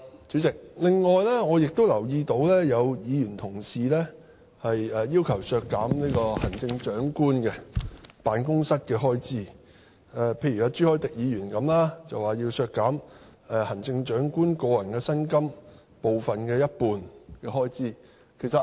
主席，我另外亦留意到，有議員要求削減行政長官辦公室的開支，例如朱凱廸議員要求削減行政長官的個人薪金的一半開支。